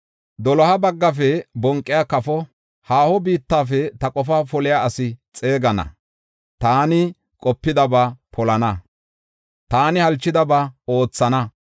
Doloha baggafe bonqiya kafo, haaho biittafe ta qofaa poliya asi xeegana. Taani qopidaba polana; taani halchidaba oothana.